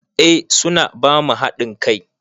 Eh su na ba mu haɗin kai.